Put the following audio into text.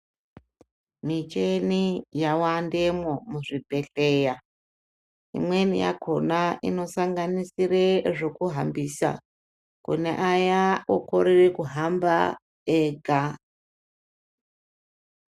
Michini yawanda muzvibhehleya .Imweni yakona inosanganisire zvokuhambisa kune aya okorere kuhamba ega .